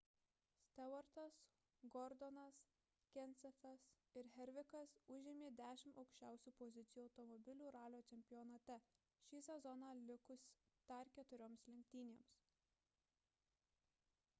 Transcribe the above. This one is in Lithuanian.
stewartas gordonas kensethas ir harvickas užėmė dešimt aukščiausių pozicijų automobilių ralio čempionate šį sezoną likus dar keturioms lenktynėms